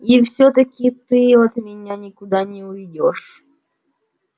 и всё-таки ты от меня никуда не уйдёшь